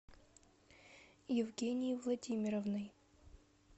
евгенией владимировной